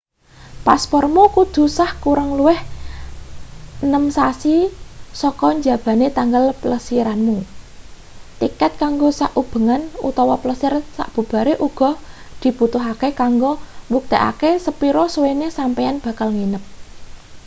paspormu kudu sah kurang luwih 6 sasi sak njabane tanggal plesiranmu. tiket kanggo sak ubengan/ plesir sabubare uga dibutuhke kanggo mbuktekake sepira suwene sampeyan bakal nginep